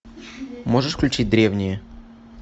можешь включить древние